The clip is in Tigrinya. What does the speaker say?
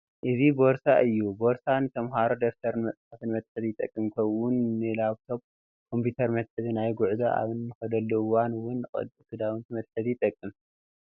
እዚ ቦርሳ እዩ፡፡ ቦርሳ ንተምሃሮ ደፍተርን መፅሓፍን መትሓዚ ይጠቅም፡፡ ከምኡ ውን ንላብቶኘ ኮምፒተር መትሓዚ፣ ናብ ጉዕዞ ኣብ ንኸደሉ እዋን ውን ቅዳውንቲ መትሓዚ ይጠቅም፡፡